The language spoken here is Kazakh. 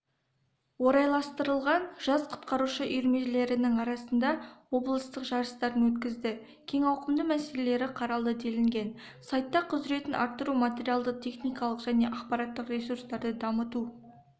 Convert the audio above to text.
орайластырылған жас құтқарушы үйірмелерінің арасында облыстық жарыстарын өткізді кең ауқымды мәселелері қаралды делінген сайтта құзіретін арттыру материалды-техникалық және ақпараттық ресурстарды дамыту